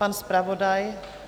Pan zpravodaj?